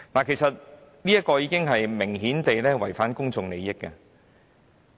其實，這明顯已經違反了公眾利益。